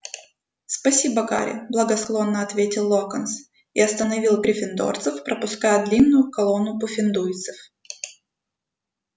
спасибо гарри благосклонно ответил локонс и остановил гриффиндорцев пропуская длинную колонну пуффендуйцев